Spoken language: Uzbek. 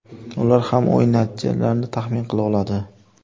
Ular ham o‘yin natijalarini taxmin qila oladi.